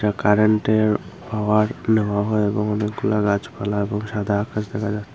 কারেন্টের পাওয়ার নেওয়া হয় এবং অনেকগুলা গাছপালা এবং সাদা আকাশ দেখা যাচ্ছে।